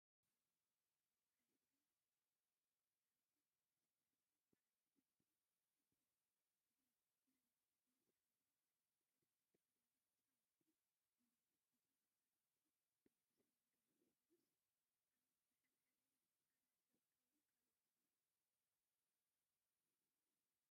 ሃፀይ ሃይለስላሴን በዓልቲ ቤቶ እቴጌ መነንን ምስ ሓደ ዓይነት ክዳን ዝተኸደኑ ህፃውንቲ እኔህዉ፡፡ እዞም ህፃውንቲ ቤተ ሰቦም ዶ ይኾኑስ ኣብ መሓብሐቢ ህፃናት ዝርከቡ ካልኦት?